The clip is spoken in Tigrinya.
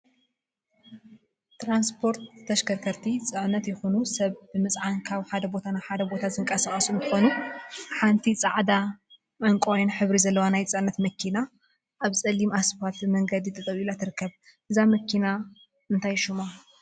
ትራንስፖርትን ተሽከርከርቲን ትራንስፖርትን ተሽከርከርቲን ፅዕነት ይኩን ሰብ ብምፅዓን ካብ ሓደ ቦታ ናብ ሓደ ቦታ ዝንቀሳቀሱ እንትኾኑ፤ ሓንቲ ፃዕዳን ዕንቋይን ሕብሪ ዘለዋ ናይ ፅዕነት መኪና አብ ፀሊም እስፓልት መንገዲ ጠጠው ኢላ ትርከብ፡፡ እዛ መኪና እንታይ ሹማ?